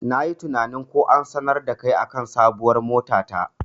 Nayi tinanin ko an sanar dakai akan sabuwar mota ta.